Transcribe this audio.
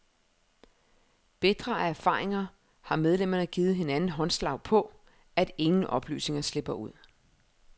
Bitre af erfaringer har medlemmerne givet hinanden håndslag på, at ingen oplysninger slipper ud.